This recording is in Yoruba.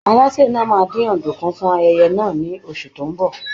Alásè náà máa dín ọ̀dùnkún fún ayẹyẹ náà ní oṣù tó ń bọ̀.